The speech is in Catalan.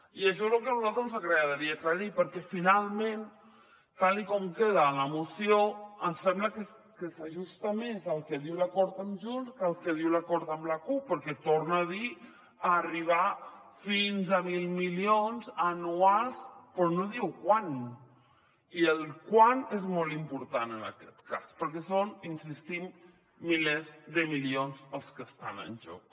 i això és el que a nosaltres ens agradaria aclarir perquè finalment tal com queda la moció ens sembla que s’ajusta més al que diu l’acord amb junts que el que diu l’acord amb la cup perquè torna a dir arribar fins a mil milions anuals però no diu quan i el quan és molt important en aquest cas perquè són insistim milers de milions els que estan en joc